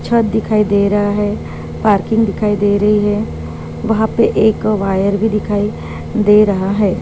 छत दिखाई दे रहा है पार्किंग दिखाई दे रही है वहा पे एक वायर भी दिखाई दे रहा है।